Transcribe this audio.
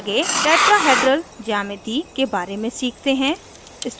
आगे tetrahedral geometry tetrahedral geometry के बारे में सीखते हैं